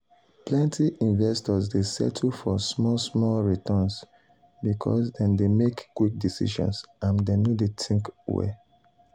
plenti investors dey settle for small small returns because dem dey make quick decisions and dem no dey think well.